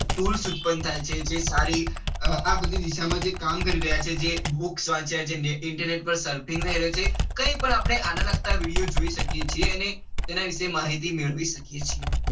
Tools ઉત્પન્ન થાય છે જે સારી આ બધી દિસા માં કામ કરી રહ્યા છે જે books વાંચ્યા છે જે internet પાર ને રે છે. કઈ પણ આને લગતા video જોઈ શકીએ છીએ અને એના વિશે માહિતી મેળવી શકીએ છીએ.